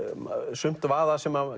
sumt vaða sem